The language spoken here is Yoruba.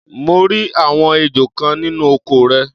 mo rí àwọn ejò kan nínú oko rẹ̀.